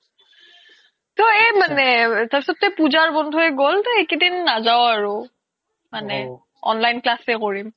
তো এই মানে তাৰ পিছতো পুজাৰ বন্ধয়ে গ্'ল তো সেই কেদিন নাযাও আৰু মানে online class য়ে কৰিম